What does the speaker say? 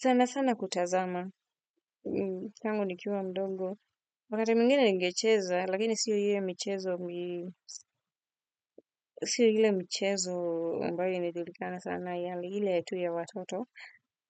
Sana sana kutazama. Tangu nikiwa mdogo. Wakati mwingine ningecheza, lakini sio ile michezo ambayo inejulikana sana, yale ile yetu ya watoto.